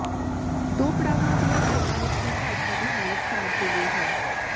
ਦੋ ਪੜਾਵਾਂ ਦੀਆਂ ਹੀ ਚੋਣਾਂ ਵਿਚ ਭਾਜਪਾ ਦੀ ਹਾਲਤ ਖ਼ਰਾਬ ਹੋ ਗਈ ਹੈ